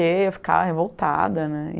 Eu ficava revoltada, né.